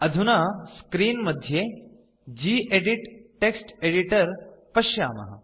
अधुना स्क्रीन् मध्ये gedit text editor पश्यामः